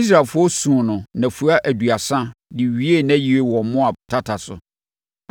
Israelfoɔ suu no nnafua aduasa de wiee nʼayie wɔ Moab tata so.